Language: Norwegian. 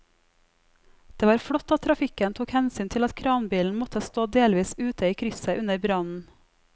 Det var flott at trafikken tok hensyn til at kranbilen måtte stå delvis ute i krysset under brannen.